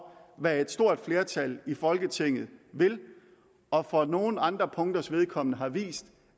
hvad et stort flertal i folketinget vil og for nogle andre punkters vedkommende har vist